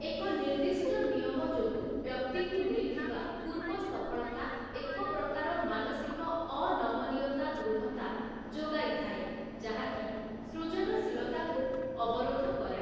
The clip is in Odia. ଏକ ନିର୍ଦ୍ଦିଷ୍ଟ ନିୟମ ଯୋଗୁଁ ବ୍ୟକ୍ତିକୁ ମିଳିଥିବା ପୂର୍ବ ସଫଳତା ଏକ ପ୍ରକାର ମାନସିକ ଅନମନୀୟତା ଦୃଢ଼ତା ଯୋଗାଇଥାଏ ଯାହାକି ସୃଜନଶୀଳତାକୁ ଅବରୋଧ କରେ ।